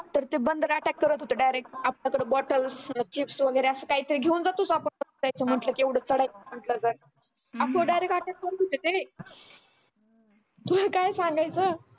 तर ते बंदर attack करत होते direct हातातलं bottleschips वगैरे अस काय तरी घेऊन जात होते म्हटलं कि एवढं चढायचा म्हंटल तर असं direct attack करत होते ते हू काय सांगायचं